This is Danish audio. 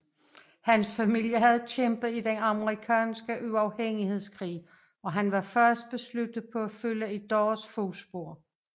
Hans familie havde kæmpet i Den amerikanske uafhængighedskrig og han var fast besluttet på at følge i deres fodspor